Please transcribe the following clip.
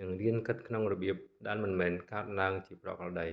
និងរៀនគិតក្នុងរបៀបដែលមិនមែនកើតឡើងជាប្រក្រតី